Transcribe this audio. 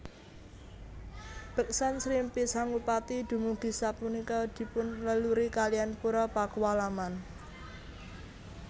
Beksan Srimpi Sangupati dumugi sapunika dipun leluri kalian Pura Pakualaman